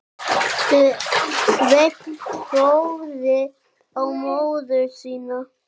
Sveinn horfði á móður sína.